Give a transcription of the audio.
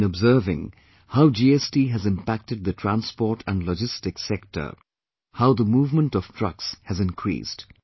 I have been observing how GST has impacted the transport and logistics sector; how the movement of trucks has increased